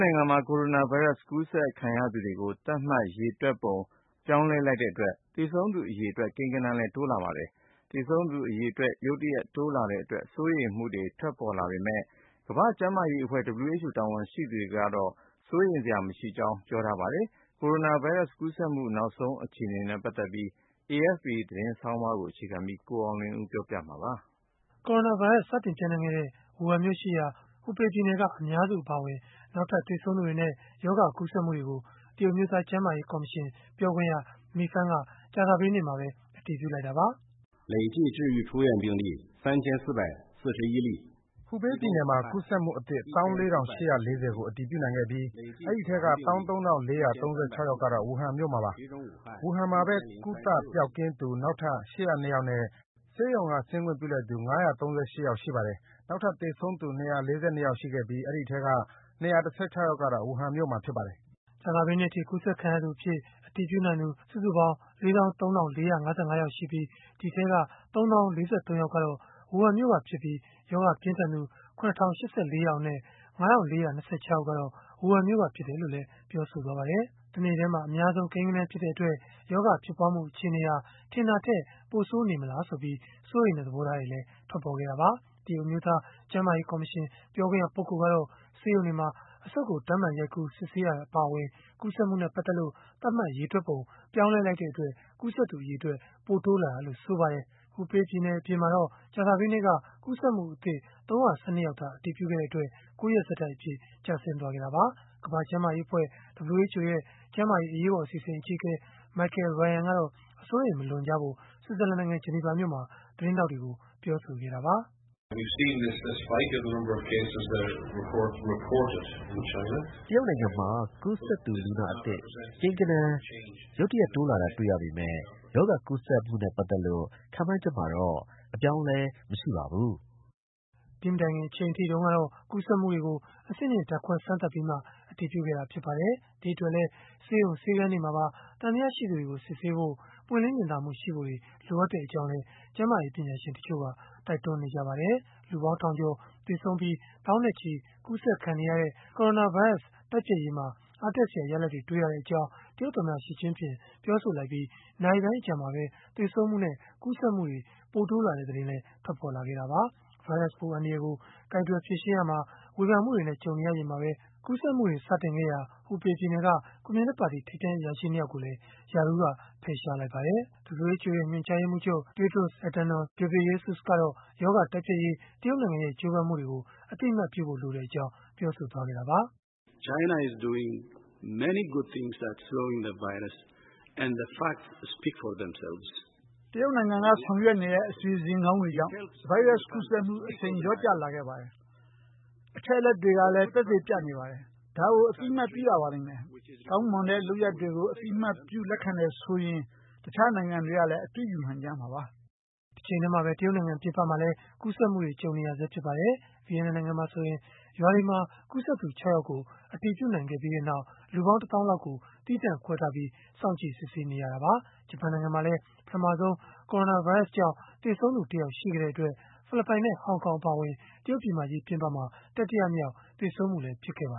နိုင်ငံမှာ ကိုရိုနာဗိုင်းရပ်စ် ကူးစက်ခံရသူတွေကို သတ်မှတ်ရေတွက်ပုံ ပြောင်းလဲလိုက်တဲ့ အတွက် သေဆုံးသူ အရေအတွက် ကိန်းဂဏန်းလည်း တိုးလာပါတယ်။ သေဆုံးသူ အရေအတွက် ရုတ်တရက် တိုးလာတဲ့အတွက် စိုးရိမ်မှုတွေ ထွက်ပေါ်လာပေမဲ့ ကမ္ဘာ့ကျန်းမာရေးအဖွဲ့ (WHO) တာဝန်ရှိသူတွေကတော့ စိုးရိမ်စရာ မရှိကြောင်း ပြောဆိုခဲ့ကြတာပါ။ ကိုရိုနာဗိုင်းရပ်စ် ကူးစက်မှု နောက်ဆုံး အခြေအနေနဲ့ ပတ်သက်လို့ AFP သတင်းဆောင်းပါးကိုတော့ ကိုအောင်လွင်ဦးက ပြောပြပေးမှာ ဖြစ်ပါတယ်။ ကိုရိုနာဗိုင်းရပ်စ် စတင်ပျံ့နှံ့ခဲ့တဲ့ ဝူဟန်မြို့ရှိရာ ဟူဘေးပြည်နယ်က အများစု အပါအဝင် နောက်ထပ် သေဆုံးသူတွေနဲ့ ရောဂါကူးစက်မှုတွေကို တရုတ်အမျိုးသား ကျန်းမာရေး ကော်မရှင် ပြောခွင့်ရ Mi Feng က ကြာသပတေးနေ့မှာပဲ အတည်ပြုလိုက်တာပါ။ “ဟူဘေးပြည်နယ်မှာ ကူးစက်မှုအသစ် ၁၄,၈၄၀ ကို အတည်ပြုနိုင်ခဲ့ပြီး၊ ဒီအထဲက ၁၃,၄၃၆ ယောက်ကတော့ ဝူဟန်မြို့မှာပါ။ ဝူဟန်မှာပဲ ကုသပျောက်ကင်းသူ နောက်ထပ် ၈၀၂ ယောက်နဲ့ ဆေးရုံက ဆင်းခွင့်ပြုလိုက်သူ ၅၃၈ ယောက် ရှိပါတယ်။ နောက်ထပ် သေဆုံးသူ ၂၄၂ ယောက် ရှိခဲ့ပြီး၊ ဒီအထဲက ၂၁၆ ယောက်ကတော့ ဝူဟန်မြို့မှာ ဖြစ်ပါတယ်။” တစ်နေ့တည်းမှာ အများဆုံး ကိန်းဂဏန်းဖြစ်တဲ့အတွက် ရောဂါဖြစ်ပွားမှု အခြေအနေဟာ ထင်တာထက် ပိုဆိုးနေမလားဆိုပြီး စိုးရိမ်တဲ့ သဘောထားတွေလည်း ထွက်ပေါ်ခဲ့တာပါ။ တရုတ်အမျိုးသား ကျန်းမာရေး ကော်မရှင် ပြောခွင့်ရပုဂ္ဂိုလ်ကတော့ ဆေးရုံတွေမှာ အဆုတ်ကို ဓာတ်မှန်ရိုက်ကူး စစ်ဆေးတာ အပါအဝင် ကူးစက်မှုနဲ့ ပတ်သက်လို့ သတ်မှတ်ရေတွက်ပုံ ပြောင်းလဲလိုက်တဲ့အတွက် ကူးစက်သူ အရေအတွက် ပိုတိုးလာတာလို့ ဆိုပါတယ်။ ဟူဘေးပြည်နယ် အပြင်မှာတော့ ကြာသပတေးနေ့က ကူးစက်မှုအသစ် ၃၁၂ ယောက်သာ အတည်ပြုခဲ့တဲ့အတွက် ၉ ရက် ဆက်တိုက်အဖြစ် ကျဆင်းခဲ့တာပါ။ ကမ္ဘာ့ကျန်းမာရေးအဖွဲ့ (WHO) ရဲ့ ကျန်းမာရေး အရေးပေါ်အစီအစဉ် အကြီးအကဲ Michael Ryan ကတော့ အစိုးရိမ် မလွန်ကြဖို့ ဆွစ်ဇာလန်နိုင်ငံ ဂျနီဗာမြို့မှာ သတင်းထောက်တွေကို ပြောဆိုခဲ့တာပါ။ “တရုတ်နိုင်ငံမှာ ကူးစက်သူလူနာအသစ် ကိန်းဂဏန်း ရုတ်တရက် တိုးလာတာ တွေ့ရပေမဲ့ ရောဂါကူးစက်မှုနဲ့ ပတ်သက်လို့ ခန့်မှန်းချက်မှာတော့ အပြောင်းအလဲ မရှိပါဘူး။” ဒီမတိုင်ခင် အချိန်အထိကတော့ ကူးစက်မှုတွေကို အဆင့်မြင့်ဓာတ်ခွဲစမ်းသပ်ပြီးမှ အတည်ပြုခဲ့တာ ဖြစ်ပါတယ်။ ဒီအတွက်လည်း ဆေးရုံဆေးခန်းတွေမှာပါ သံသယရှိသူတွေကို စစ်ဆေးဖို့၊ ပွင့်လင်းမြင်သာမှုရှိဖို့တွေ လိုအပ်ကြောင်းလည်း ကျန်းမာရေး ပညာရှင်တချို့က တိုက်တွန်းနေပါတယ်။ လူပေါင်းထောင်ကျော် သေဆုံးပြီး သောင်းနဲ့ချီ ကူးစက်ခံနေရတဲ့ ကိုရိုနာဗိုင်းရပ်စ် တိုက်ဖျက်ရေးမှာ အားတက်စရာ ရလဒ်တွေ တွေ့ရကြောင်း တရုတ်သမ္မတ Xi Jinping ပြောဆိုလိုက်ပြီး နာရီပိုင်းအကြာမှာပဲ သေဆုံးမှုနဲ့ ကူးစက်မှုတွေ ပိုတိုးလာတဲ့သတင်း ထွက်ပေါ်လာတာပါ။ ဗိုင်းရပ်စ်ပိုး အန္တရာယ်ကို ကိုင်တွယ်ဖြေရှင်းရာမှာ ဝေဖန်မှုတွေနဲ့ ကြုံနေရချိန်မှာပဲ ကူးစက်မှုတွေ စတင်ခဲ့ရာ ဟူဘေးပြည်နယ်က ကွန်မြူနစ်ပါတီ ထိပ်တန်းအရာရှိ ၂ ယောက်ကိုလည်း ရာထူးက ဖယ်ရှားလိုက်ပါတယ်။ WHO ညွှန်ကြားရေးမှူးချုပ် Tedros Adhanom Ghebreyesus ကတော့ ရောဂါတိုက်ဖျက်ရေး တရုတ်နိုင်ငံရဲ့ ကြိုးပမ်းမှုတွေကို အသိအမှတ်ပြုဖို့လိုကြောင်း ပြောဆိုခဲ့တာပါ။ “တရုတ်နိုင်ငံက ဆောင်ရွက်နေတဲ့ အစီအစဉ်ကောင်းတွေကြောင့် ဗိုင်းရပ်စ်ကူးစက်မှု အရှိန်လျော့ကျလာပါတယ်။ အချက်အလက်တွေကလည်း သက်သေပြနေပါတယ်။ ဒါကို အသိအမှတ်ပြုရပါလိမ့်မယ်။ ကောင်းမွန်တဲ့ လုပ်ရပ်တွေကို အသိအမှတ်ပြု လက်ခံတယ်ဆိုရင် တခြားနိုင်ငံတွေကလည်း အတုယူနိုင်ကြမှာပါ။” တချိန်တည်းမှာပဲ တရုတ်နိုင်ငံ ပြင်ပမှာလည်း ကူးစက်မှုတွေ ကြုံနေရဆဲဖြစ်ပါတယ်။ ဗီယက်နမ်နိုင်ငံမှာဆိုရင် ရွာတွေမှာ ကူးစက်သူ ၆ ယောက်ကို အတည်ပြုနိုင်ခဲ့ပြီးနောက် လူပေါင်း တစ်သောင်းလောက်ကို သီးသန့်ခွဲထားပြီး စောင့်ကြည့်စစ်ဆေးနေရတာပါ။ ဂျပန်နိုင်ငံမှာလည်း ပထမဆုံး ကိုရိုနာဗိုင်းရစ်ကြောင့် သေဆုံးသူ တစ်ယောက်ရှိခဲ့တဲ့အတွက် ဖိလစ်ပိုင်နဲ့ ဟောင်ဟောင် အပါအဝင် တရုတ်ပြည်မကြီး ပြင်ပမှာ တတိယမြောက် သေဆုံးမှုလည်း ဖြစ်ခဲ့ပါ